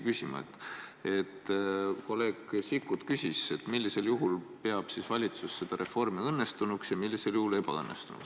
Kolleeg Sikkut küsis, millisel juhul peab valitsus seda reformi õnnestunuks ja millisel juhul ebaõnnestunuks.